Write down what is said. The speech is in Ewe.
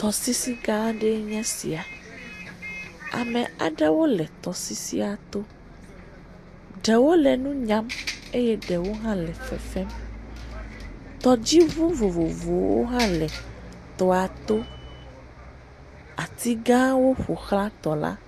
Tɔsisigã aɖee nye esia. Ame aɖewo le tɔsisia to. Ɖewo le nu nyam eye ɖewo hã le fefem. Tɔdziŋu vovovowo hã le tɔa to. Atogãwo ƒo ʋlã tɔla.